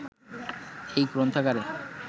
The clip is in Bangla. এই গ্রন্থাগারে